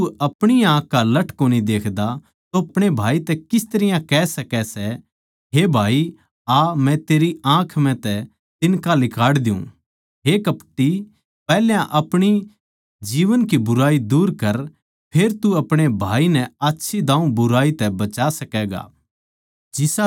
जिब तू अपणी ए आँख का लठ कोनी देख्दा तो अपणे भाई तै किस तरियां कह सकै सै हे भाई आ मै तेरी आँख म्ह तै तिन्का लिकाड़ द्यु हे कपटी पैहल्या अपणी जीवन की बुराई दूर कर फेर तू अपणे भाई नै आच्छी दाऊँ बुराई तै बचा सकैगा